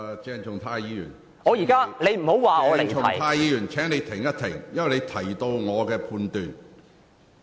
鄭松泰議員，請稍停，因為你在發言中提及我的判斷。